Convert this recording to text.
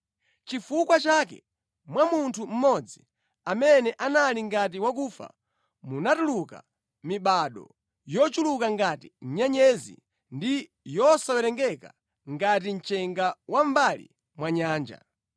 Nʼchifukwa chake mwa munthu mmodzi, amene anali ngati wakufa, munatuluka mibado yochuluka ngati nyenyezi ndi yosawerengeka ngati mchenga wa mʼmbali mwa nyanja.